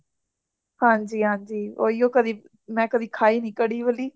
ਹਾਂਜੀ ਹਾਂਜੀ ਓਹਿਯੋ ਕਦੀ ਮੈਂ ਕਦੀ ਖਾਇ ਨਹੀਂ ਕੜੀ ਵਲੀ